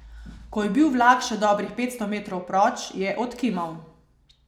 Ko je bil vlak še dobrih petsto metrov proč, je odkimal.